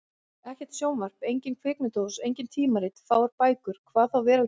Ekkert sjónvarp, engin kvikmyndahús, engin tímarit, fáar bækur. hvað þá veraldarvefur!